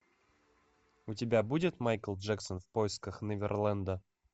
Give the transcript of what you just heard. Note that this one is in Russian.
у тебя будет майкл джексон в поисках неверленда